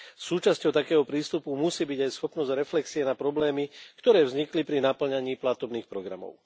Súčasťou takého prístupu musí byť aj schopnosť reflexie na problémy, ktoré vznikli pri napĺňaní platobných programov.